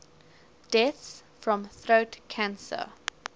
deaths from throat cancer